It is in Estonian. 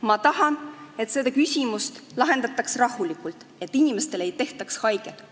Ma tahan, et seda küsimust lahendataks rahulikult, et inimestele ei tehtaks haiget.